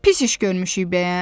Pis iş görmüşük bəyəm?